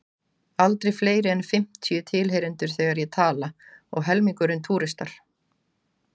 Aldrei fleiri en fimmtíu tilheyrendur þegar ég tala, og helmingurinn túristar.